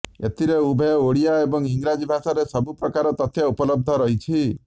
ଏଥିରେ ଉଭୟ ଓଡ଼ିଆ ଏବଂ ଇଂରାଜୀ ଭାଷାରେ ସବୁ ପ୍ରକାର ତଥ୍ୟ ଉପଲବ୍ଧ ରହିଛି